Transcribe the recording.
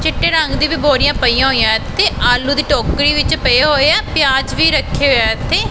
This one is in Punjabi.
ਚਿੱਟੇ ਰੰਗ ਦੀ ਵੀ ਬੋਰੀਆਂ ਪਈਆਂ ਹੋਈਆਂ ਇੱਥੇ ਆਲੂ ਦੀ ਟੋਕਰੀ ਵਿੱਚ ਪਏ ਹੋਏ ਆ ਪਿਆਜ ਵੀ ਰੱਖੇ ਹੋਏ ਆ ਇੱਥੇ।